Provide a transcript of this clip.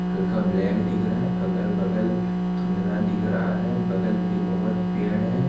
हल्का ब्लैक दिख रहा है अगल बगल धुंधला दिख रहा है बगल पे बहोत पेड़ हैं।